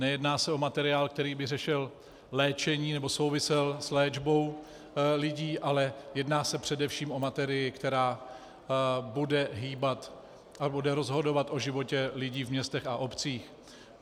Nejedná se o materiál, který by řešil léčení nebo souvisel s léčbou lidí, ale jedná se především o materii, která bude hýbat a bude rozhodovat o životě lidí v městech a obcích.